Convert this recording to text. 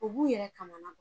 U b'u yɛrɛ kamana gan.